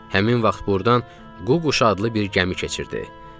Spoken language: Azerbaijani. Həmin vaxt ordan Ququş adlı bir gəmi keçirdi.